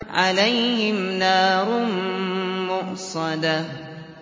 عَلَيْهِمْ نَارٌ مُّؤْصَدَةٌ